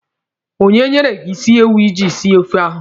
Onye nyere gị isi ewu iji sie ofe ahụ?